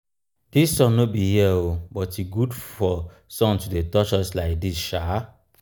dis sun no be here oo. oo. but e good for sun to dey touch us like dis sha.